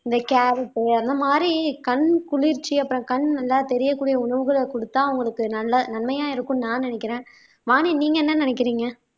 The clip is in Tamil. இந்த கேரட் அந்த மாதிரி கண் குளிர்ச்சி அப்புறம் கண் நல்லா தெரியக்கூடிய உணவுகளை கொடுத்தா அவங்களுக்கு நல்ல நன்மையா இருக்கும்னு நான் நினைக்கிறேன் வானி நீங்க என்ன நினைக்கிறீங்க